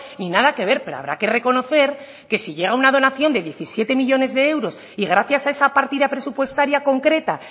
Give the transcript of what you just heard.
ni nada que ver pero habrá que reconocer que si llega una donación de diecisiete millónes de euros y gracias a esa partida presupuestaria concreta